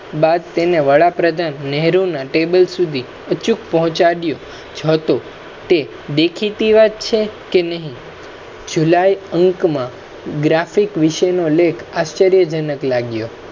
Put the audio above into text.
બાદ તેને વડાપ્રધાન નેહરુના Table સુધી ઉચુકુ પહોચાડયુ હતુ તે દેખેતી વાત છે કે નહી july અંક મા graphic વિશેનો લેખ આશ્રયજનક લાગ્યો